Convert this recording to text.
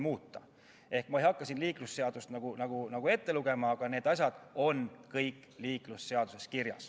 Ma ei hakka siin liiklusseadust ette lugema, aga need asjad on kõik liiklusseaduses kirjas.